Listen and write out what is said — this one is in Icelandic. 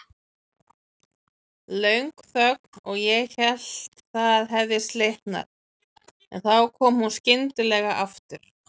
Löng þögn og ég hélt það hefði slitnað, en þá kom hún skyndilega aftur.